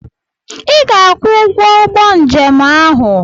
Ị ga-akwụ ụgwọ ụgbọ njem ahụ!